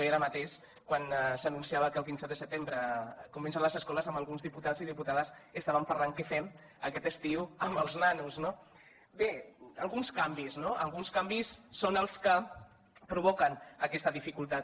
i jo ara mateix quan s’anunciava que el quinze de setembre comencen les escoles amb alguns diputats i diputades estàvem parlant què fem aquest estiu amb els nanos no bé alguns canvis no alguns canvis són els que provoquen aquesta dificultat